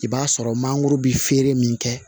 I b'a sɔrɔ mangoro be feere min kɛ